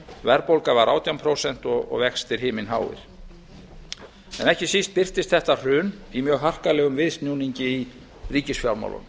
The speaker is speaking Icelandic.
verðbólga var átján prósent og vextir himinháir en ekki síst birtist þetta hrun í mjög harkalegum viðsnúningi í ríkisfjármálunum á